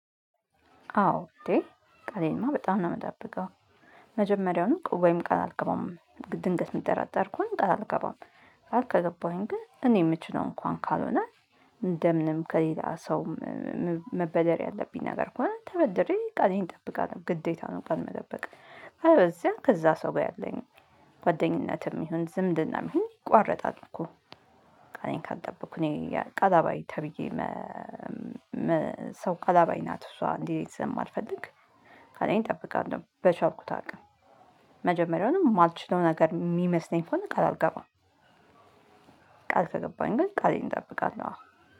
አዎ እንዴ ቃሌንማ በጣም ነው የምጠብቀው። መጀመሪያውን ወይም ቃል አልገባም ድንገት መጠራጠር እኮ አልገባም። አልገባሁኝ ግን እኔ የምችለው እንኳን ካልሆነ እንደምንም ከሌላ ሰውም መበደር ያለብኝ ነገር ከሆነ ተበድሬ ቃሌን እጠብቃለሁ። ግዴታ ነው ቀን መጠበቅ። አለበዚያ ከዛ ሰው ጋር ያለኝ ጓደኝነትም ይሁን ዝምድና ይሁን ቋረጣል እኮ። ጠበቅኩኝ ቀላባይ ተብዬ። ሰው ቃላባይ ናት እሷ እንዲህ ስም ማልፈልግ ካለኝ እጠብቃለሁ። በቻርኩ ታውቃለህ መጀመሪያውንም የማልችለው ነገር የሚመስለኝ ከሆይ ቃል አልገባም። ቃል ከገባኝ ግን ቃሌን እጠብቃለሁ።